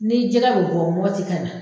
Ni jɛgɛ bɛ bɔ Mɔti ka na